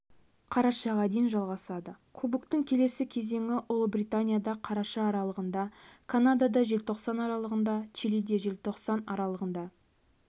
қарашаға дейін жалғасады кубоктың келесі кезеңі ұлыбританияда қараша аралығында канадада желтоқсан аралығында чилиде желтоқсан аралығында